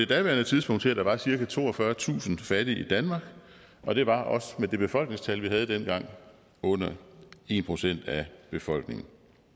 daværende tidspunkt til at der var cirka toogfyrretusind fattige i danmark og det var også med det befolkningstal vi havde dengang under en procent af befolkningen